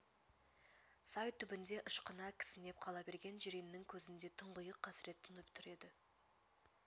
сай түбінде ышқына кісінеп қала берген жиреннің көзінде тұңғиық қасырет тұнып тұр еді